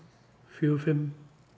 fjögur fimm